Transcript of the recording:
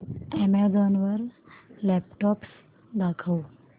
Amazon वर laptops दाखव